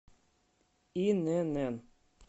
инн